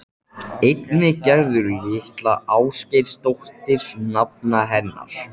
Einnig Gerður litla Ásgeirsdóttir nafna hennar.